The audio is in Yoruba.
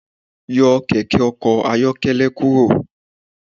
Yọ kẹkẹ ọkọ ayọkẹlẹ kuro